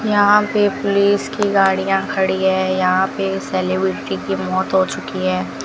यहां पे पुलिस की गाड़ियां खड़ी है यहां पे सेलिब्रिटी की मौत हो चुकी है।